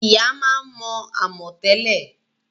Ìyá máa ń mo amò tẹ́lẹ̀